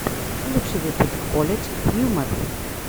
лучший выпуск колледж хьюмор